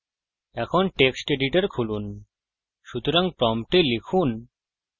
এখন text editor খুলুন সুতরাং prompt লিখুন